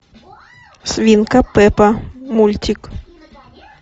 свинка пеппа мультик